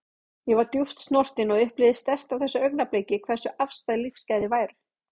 Ég var djúpt snortin og upplifði sterkt á þessu augnabliki hversu afstæð lífsgæði væru.